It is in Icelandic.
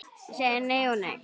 Ég segi nei og nei.